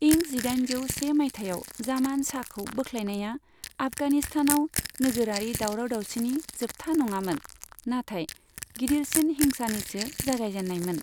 इं जिदाइनजौ से माइथायाव जामान शाहखौ बोख्लायनाया आफगानिस्तानाव नोगोरारि दावराव दावसिनि जोबथा नङामोन, नाथाइ गिदिरसिन हिंसानिसो जागायजेननायमोन।